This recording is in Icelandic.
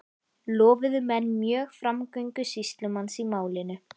Lofuðu menn mjög framgöngu sýslumanns í málinu.